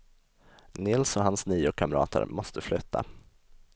Nils och hans nio kamrater måste flytta.